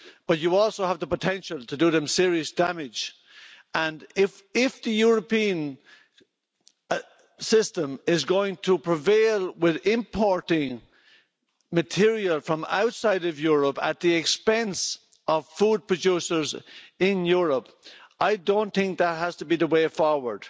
But you also have the potential to do them serious damage. If the European system is going to prevail with importing material from outside of Europe at the expense of food producers in Europe, I don't think that has to be the way forward.